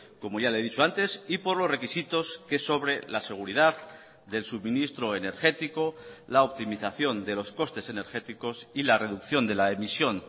como ya le he dicho antes y por los requisitos que sobre la seguridad del suministro energético la optimización de los costes energéticos y la reducción de la emisión